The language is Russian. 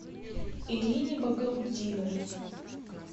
ирине багаутдиновой